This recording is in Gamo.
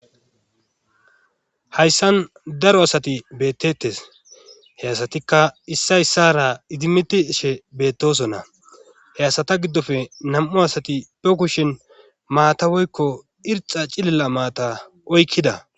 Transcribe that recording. hayssan daro asati bettettes he asatikka issa issara idimiti she beettosonna he asata giddofe nam7u asati pe kushin maata woykko irxa cililla maata oykkida